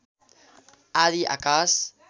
आधी आकाश